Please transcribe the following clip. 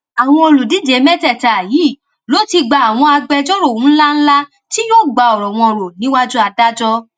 àwọn olùdíje mẹtẹẹta yìí ló ti gba àwọn agbẹjọrò ńlá ńlá tí yóò gba ọrọ wọn rò níwájú adájọ